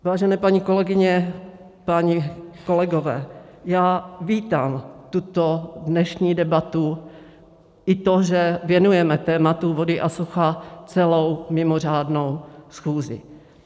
Vážené paní kolegyně, páni kolegové, já vítám tuto dnešní debatu i to, že věnujeme tématu vody a sucha celou mimořádnou schůzi.